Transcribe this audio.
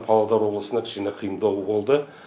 павлодар облысында кішкене қиындау болды